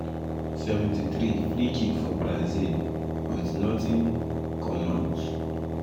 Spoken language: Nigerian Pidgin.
73’ freekick for brazil but not not in come out.